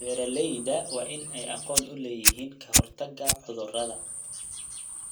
Beeralayda waa in ay aqoon u leeyihiin ka hortagga cudurrada.